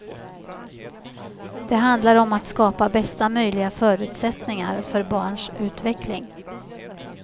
Det handlar om att skapa bästa möjliga förutsättningar för barns utveckling.